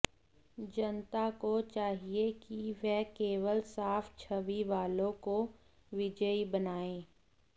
जनता को चाहिए कि वह केवल साफ छवि वालों को विजयी बनाए